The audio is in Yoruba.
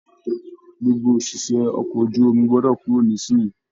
Gbogbo oṣiṣẹ okọ̀ ojú omi gbọdọ kúrò nisinyi!